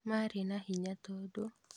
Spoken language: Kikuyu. Marĩ na hinya tondũ